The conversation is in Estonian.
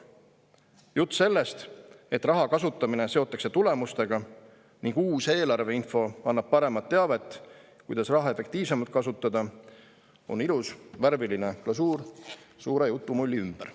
Jutt sellest, et raha kasutamine seotakse tulemustega ning uus eelarveinfo annab paremat teavet, kuidas raha efektiivsemalt kasutada, on ilus värviline glasuur suure jutumulli ümber.